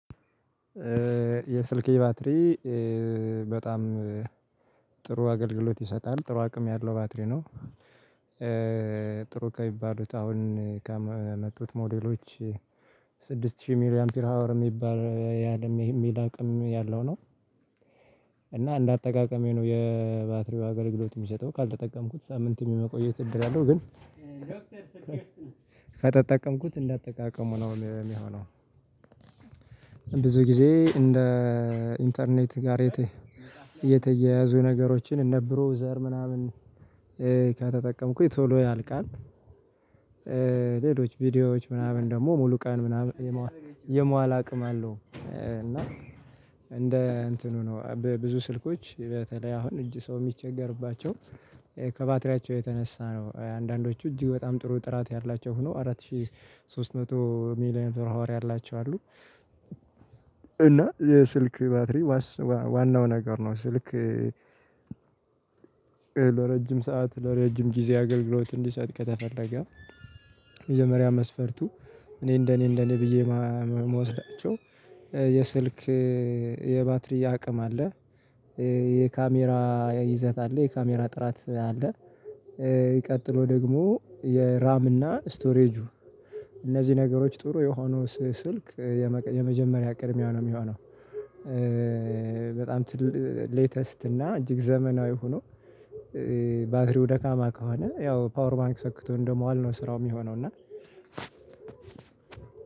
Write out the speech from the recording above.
የስልክ የባትሪ በጣም ጥሩ አገልግሎት ይሰጣል ጥሩ አቅም ያለው ባትሪ ነው። ጥሩ ከሚባሉት አሁን ከመጡት ሞዴሎች። ስድስት ሺህ ሚሊ አምፒር ሃወር የሚባል ያለም የሚል አቅም ያለው ነው። እና እንደ እንዳጠቃቀሜ ነው የባትሪው አገልግሎት የሚሰጠው ካልተጠቀምኩት ሳምንትም የመቆየት እድል አለው። ግን ከተጠቀምኩት እንደአጠቃቀሙ ነው የሚሆነው። ብዙ ጊዜ እንደ ኢንተርኔት ጋር እየተያያዙ ነገሮችን እንደ ብሩህ ዘር ምናምን ከተጠቀምኩኝ ቶሎ ያልቃል። ሌሎች ቪዲዮዎች ምናምን ደግሞ ሙሉ ቀን ምናምን የመዋል የመዋል አቅም አለው። እና እንደ እንትኑ ነው በብዙ ስልኮች በተለይ አሁን እጅ ሰው የሚቸገርባቸው ከባትሪያቸው የተነሳ ነው። አንዳንዶቹ እጅግ በጣም ጥሩ ጥራት ያላቸው ሆኖ አራት ሺህ ሶስት መቶ ሚሊ አምፒር ሐወር ያላቸው አሉ። እና የስልክ ባትሪ ዋናው ነገር ነው። ስልክ ለረጅም ሰዓት ለረጅም ጊዜ አገልግሎት እንዲሰጥ ከተፈለገ የመጀሪያ መስፈርቱ። እኔ እንደኔ እንደኔ ብዬ የምወስዳቸው የስልክ የባትሪ አቅም አለ። የካሜራ ይዘት አለ የካሜራ ጥራት አለ። ሚቀጥለው ደግሞ የራም እና ስቶሬጁ እነዚህ ነገሮች ጥሩ የሆኑ ስልክ የመጀመሪያ ቅድሚያ ነው የሚሆነው። በጣም ሌተስት እና እጅግ ዘመናዊ ሆኖ ባትሪው ደካማ ከሆነ ያው ፓወር ባንክ ሰክቶ እንደመዋል ነው ስራው የሚሆነው እና።